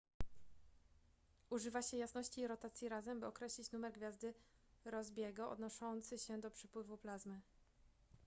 używa się jasności i rotacji razem by określić numer gwiazdy rossby'ego odnoszący się do przepływu plazmy